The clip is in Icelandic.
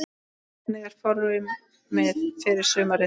Hvernig er formið fyrir sumarið?